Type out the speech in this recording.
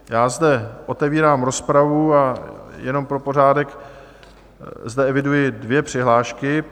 Já zde otevírám rozpravu a jenom pro pořádek zde eviduji dvě přihlášky.